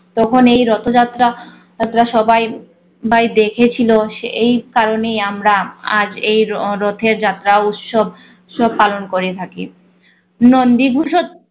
তখন এই রথযাত্রা যাত্রা সবাই বাই দেখেছিল সে এই কারণে আমরা আজ এই রথ~ রথের যাত্রা উৎসব সব পালন করে থাকি। নন্দী ভূষজ